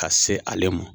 Ka se ale ma